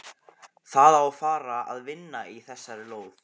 Það á að fara að vinna í þessari lóð.